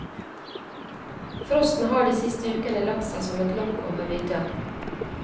Frosten har de siste ukene lagt seg som et lokk over vidda.